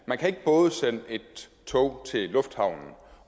man kan ikke både sende et tog til lufthavnen